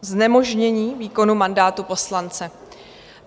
Znemožnění výkonu mandátu poslance.